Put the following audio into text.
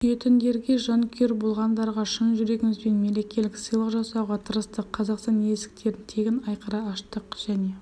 сүйетіндерге жанкүйер болғандарға шын жүрегімізбен мерекелік сыйлық жасауға тырыстық қазақстан есіктерін тегін айқара аштық және